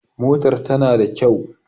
Motar ta na da kyau